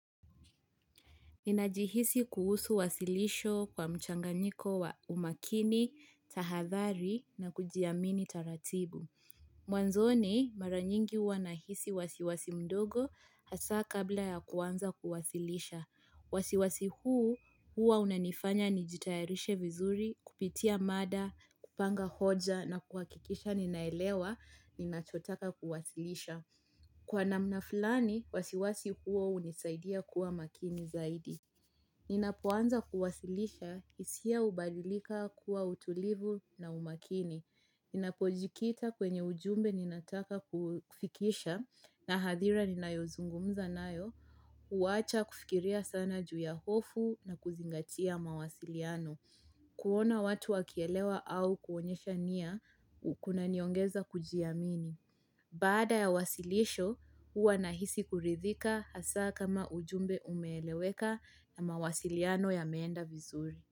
Ninajihisi kuhusu wasilisho kwa mchanganyiko wa umakini, tahathari na kujiamini taratibu. Mwanzoni mara nyingi huwa nahisi wasiwasi mdogo hasa kabla ya kuanza kuwasilisha. Wasiwasi huu hua unanifanya nijitayarishe vizuri, kupitia mada, kupanga hoja na kuhakikisha ninaelewa ninachotaka kuwasilisha. Kwa namna fulani, wasiwasi huo huunisaidia kuwa makini zaidi. Ninapoanza kuwasilisha hisia hubalilika kuwa utulivu na umakini. Ninapojikita kwenye ujumbe ninataka kufikisha na hadhira ninayozungumza nayo. Huwacha kufikiria sana juu ya hofu na kuzingatia mawasiliano. Kuona watu wakielewa au kuonyesha nia kunaniongeza kujiamini. Bada ya wasilisho, huwa na hisi kuridhika haswa kama ujumbe umeeleweka na mawasiliano yameenda vizuri.